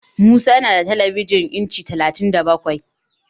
Musa yana da telebijin inci talatin da bakwai.